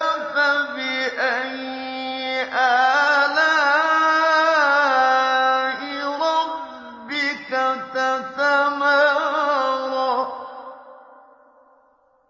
فَبِأَيِّ آلَاءِ رَبِّكَ تَتَمَارَىٰ